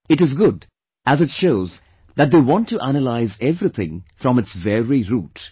It is good as it shows that they want to analyse everything from its very root